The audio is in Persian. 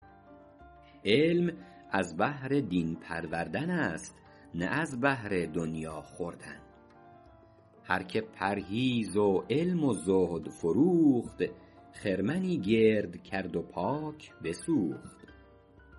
علم از بهر دین پروردن است نه از بهر دنیا خوردن هر که پرهیز و علم و زهد فروخت خرمنی گرد کرد و پاک بسوخت